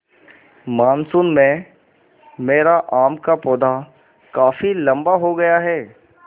monsoon में मेरा आम का पौधा काफी लम्बा हो गया है